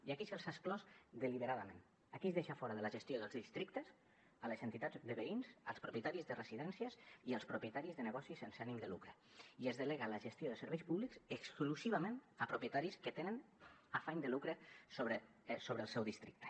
i aquí se’ls ha exclòs deliberadament aquí es deixa fora de la gestió dels districtes les entitats de veïns els propietaris de residències i els propietaris de negocis sense ànim de lucre i es delega la gestió de serveis públics exclusivament en propietaris que tenen afany de lucre sobre el seu districte